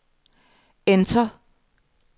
enter